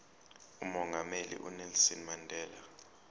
umongameli unelson mandela